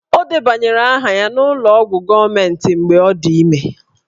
Ọ debanyere aha ya n'ụlọ ọgwụ gọọmentị mgbe ọ dị ime